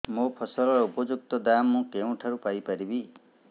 ମୋ ଫସଲର ଉପଯୁକ୍ତ ଦାମ୍ ମୁଁ କେଉଁଠାରୁ ପାଇ ପାରିବି